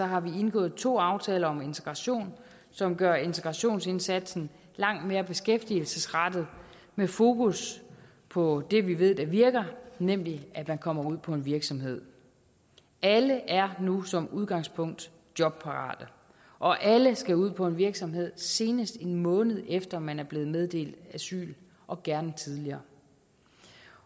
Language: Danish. har vi indgået to aftaler om integration som gør integrationsindsatsen langt mere beskæftigelsesrettet med fokus på det vi ved virker nemlig at man kommer ud på en virksomhed alle er nu som udgangspunkt jobparate og alle skal ud på en virksomhed senest en måned efter at man er blevet meddelt asyl og gerne tidligere